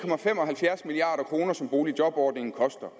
milliard kr som boligjobordningen koster